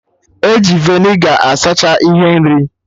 E ji vinegar asacha ihe nri